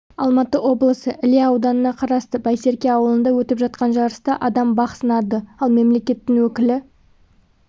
алматы облысы іле ауданына қарасты байсерке ауылында өтіп жатқан жарыста адам бақ сынады ал мемлекеттің өкілі